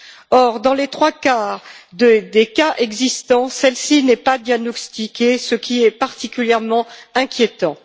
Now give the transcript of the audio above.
Or, dans les trois quarts des cas existants, celle ci n'est pas diagnostiquée, ce qui est particulièrement inquiétant.